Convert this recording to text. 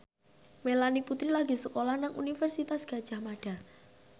Melanie Putri lagi sekolah nang Universitas Gadjah Mada